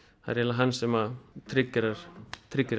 það er eiginlega hann sem